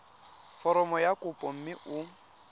foromo ya kopo mme o